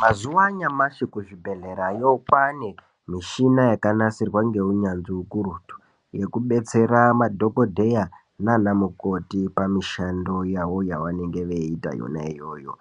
Mazuwaanyamashi kuzvibhedhlerayo kwaane mishina yakanasirwa ngeunyanzvi ukurutu yekudetsera madhokodheya nanamukoti pamushando yawo yavanenge veiita iyoyo